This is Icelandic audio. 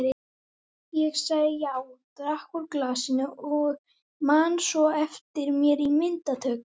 Ég sagði já, drakk úr glasinu og man svo eftir mér í myndatöku.